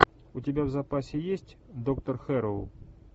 у тебя в запасе есть доктор хэрроу